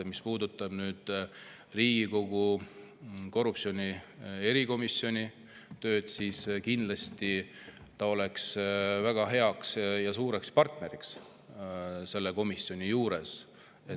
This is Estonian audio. Mis puudutab Riigikogu korruptsiooni erikomisjoni tööd, siis kindlasti oleks ta väga hea partner sellele komisjonile.